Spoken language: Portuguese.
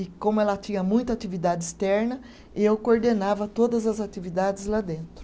E como ela tinha muita atividade externa, eu coordenava todas as atividades lá dentro.